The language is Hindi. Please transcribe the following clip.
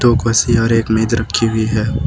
दो कुर्सी और एक मेज रखी हुई है।